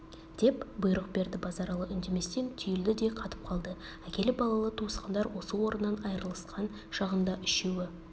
деп бұйрық берді базаралы үндеместен түйілді де қатып қалды әкелі-балалы туысқандар осы орнынан айрылысқан шағында үшеуі